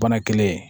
Bana kelen